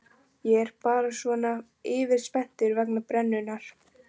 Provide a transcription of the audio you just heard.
Ég er bara svona yfirspenntur vegna brennunnar.